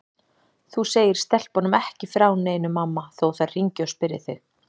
Þú segir stelpunum ekki frá neinu mamma þó þær hringi og spyrji þig.